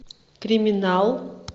криминал